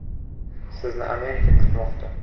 Sizni Amerika kutmoqda!